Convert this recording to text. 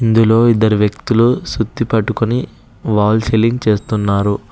ఇందులో ఇద్దరు వ్యక్తులు సుత్తి పట్టుకొని వాల్ సీలింగ్ చేస్తున్నారు.